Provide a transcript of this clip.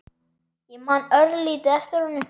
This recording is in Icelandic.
Ég man örlítið eftir honum.